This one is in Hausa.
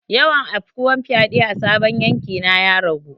Yawan afkuwar fyade a sabon yanki na ya ragu.